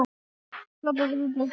Þá þurfti engin orð.